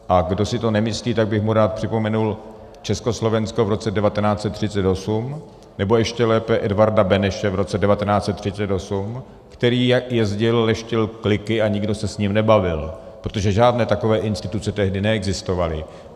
A kdo si to nemyslí, tak bych mu rád připomenul Československo v roce 1938, nebo ještě lépe Edvarda Beneše v roce 1938, který jezdil, leštil kliky a nikdo se s ním nebavil, protože žádné takové instituce tehdy neexistovaly.